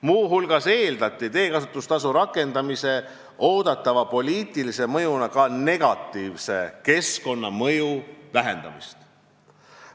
Muu hulgas eeldati teekasutustasu rakendamise oodatava positiivse mõjuna ka negatiivse keskkonnamõju vähenemist.